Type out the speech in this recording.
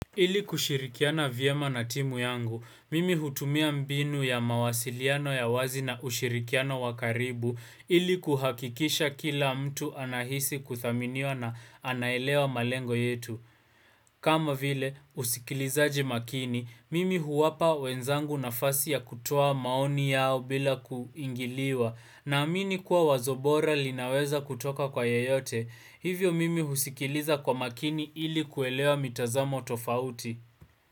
Ili kushirikiana vyema na timu yangu, mimi hutumia mbinu ya mawasiliano ya wazi na ushirikiano wakaribu, ili kuhakikisha kila mtu anahisi kuthaminiwa na anaelewa malengo yetu. Kama vile usikilizaji makini, mimi huwapa wenzangu na fasi ya kutoa maoni yao bila kuingiliwa na amini kuwa wazobora linaweza kutoka kwa yayote. Hivyo mimi husikiliza kwa makini ili kuelewa mitazamo tofauti.